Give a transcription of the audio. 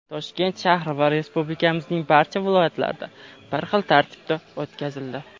Toshkent shahri va Respublikamizning barcha viloyatlarida bir xil tartib asosida o‘tkazildi.